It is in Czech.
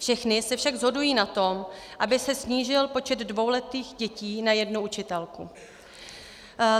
Všechny se však shodují na tom, aby se snížil počet dvouletých dětí na jednu učitelku.